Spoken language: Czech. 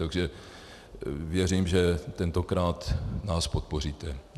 Takže věřím, že tentokrát nás podpoříte.